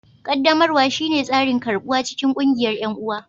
qaddamarwa shine tsarin karɓuwa cikin ƙungiyar 'yan'uwa